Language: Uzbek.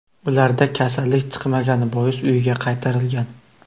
Ularda kasallik chiqmagani bois, uyiga qaytarilgan.